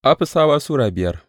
Afisawa Sura biyar